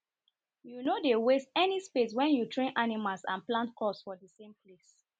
you nor dey waste any space wen you train animals and plant crops for thesame place